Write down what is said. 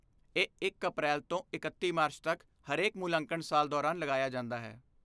ਇਹ ਇਕ ਅਪ੍ਰੈਲ ਤੋਂ ਇਕੱਤੀ ਮਾਰਚ ਤਕ ਹਰੇਕ ਮੁਲਾਂਕਣ ਸਾਲ ਦੌਰਾਨ ਲਗਾਇਆ ਜਾਂਦਾ ਹੈ